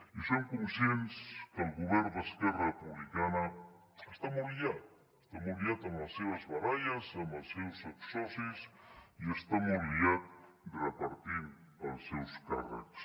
i som conscients que el govern d’esquerra republicana està molt liat està molt liat amb les seves baralles amb els seus exsocis i està molt liat repartint els seus càrrecs